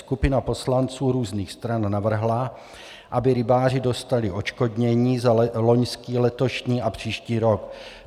Skupina poslanců různých stran navrhla, aby rybáři dostali odškodnění za loňský, letošní a příští rok.